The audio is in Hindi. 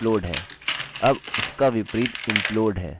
अब उसका विपरीत implode है